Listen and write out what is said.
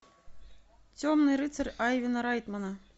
темный рыцарь айвена райтмана